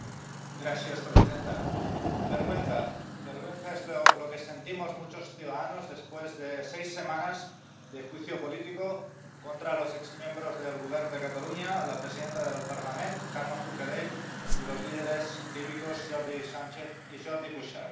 Señora presidenta, vergüenza es lo que sentimos muchos ciudadanos después de seis semanas de juicio político contra los exmiembros del Govern de Catalunya, la presidenta del Parlament Carme Forcadell y los líderes cívicos Jordi Sánchez y Jordi Cuixart.